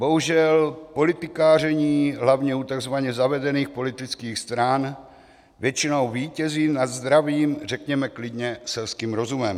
Bohužel politikaření hlavně u tzv. zavedených politických stran většinou vítězí nad zdravým, řekněme klidně selským rozumem.